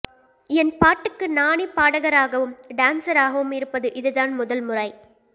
என் பாட்டுக்கு நானே பாடகராகவும் டான்சராகவும் இருப்பது இதுதான் முதல் முறை